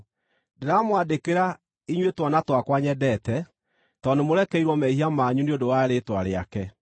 Ndĩramwandĩkĩra, inyuĩ twana twakwa nyendete, tondũ nĩmũrekeirwo mehia manyu nĩ ũndũ wa rĩĩtwa rĩake.